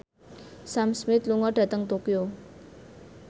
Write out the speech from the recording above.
Sam Smith lunga dhateng Tokyo